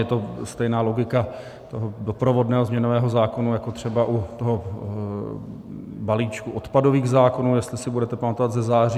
Je to stejná logika toho doprovodného změnového zákona jako třeba u toho balíčku odpadových zákonů, jestli si budete pamatovat ze září.